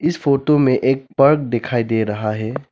इस फोटो में एक पर्क दिखाई दे रहा है।